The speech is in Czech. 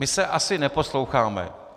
My se asi neposloucháme.